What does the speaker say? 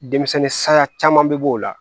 Denmisɛnnin sanya caman be b'o la